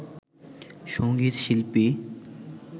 সঙ্গীত শিল্পী